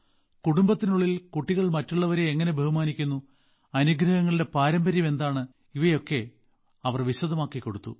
കുടുംബത്തിനുള്ളിൽ കുട്ടികൾ മറ്റുള്ളവരെ എങ്ങനെ ബഹുമാനിക്കുന്നു അനുഗ്രഹങ്ങളുടെ പാരമ്പര്യം എന്താണെന്നും അവർ വിശദമാക്കി കൊടുത്തു